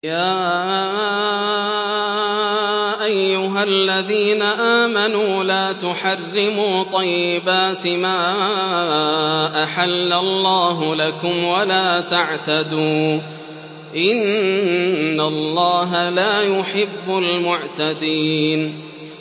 يَا أَيُّهَا الَّذِينَ آمَنُوا لَا تُحَرِّمُوا طَيِّبَاتِ مَا أَحَلَّ اللَّهُ لَكُمْ وَلَا تَعْتَدُوا ۚ إِنَّ اللَّهَ لَا يُحِبُّ الْمُعْتَدِينَ